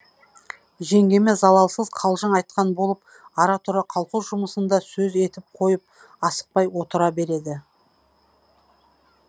жеңгеме залалсыз қалжың айтқан болып ара тұра колхоз жұмысын да сөз етіп қойып асықпай отыра береді